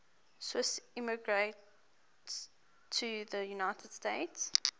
swiss immigrants to the united states